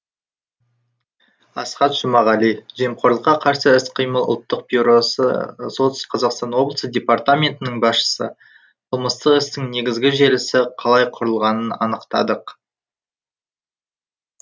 асхат жұмағали жемқорлыққа қарсы іс қимыл ұлттық бюросы солтүстік қазақстан облысы департаментінің басшысы қылмыстық істің негізгі желісі қалай құрылғанын анықтадық